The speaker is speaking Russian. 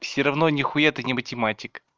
всё равно нихуя ты не математик